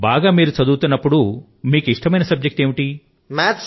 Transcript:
బాగా మీరు చదువుతున్నప్పుడు మీకు ఇష్టమైన సబ్జెక్ట్ ఏమిటి